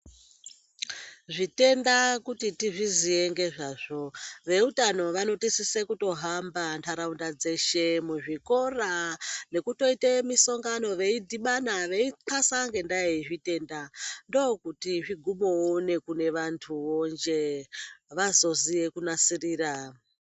Zvitenda kuti tizviziye ngezvazvo veutano vanotosise kutohamba ntaraunda dzeshe muzvikora nekutoite musongano veidhibana veitxasa ngendaa yezvitenda. Ndokuti zvigubovo nekune vantuvo jee vazoziye kunasirira.